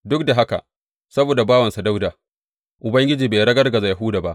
Duk da haka, saboda bawansa Dawuda, Ubangiji bai ragargaza Yahuda ba.